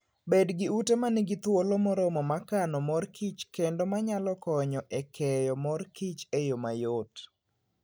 Bed gi ute ma nigi thuolo moromo mar kano mor kich kendo ma nyalo konyo e keyo mor kich e yo mayot.